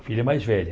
A filha mais velha.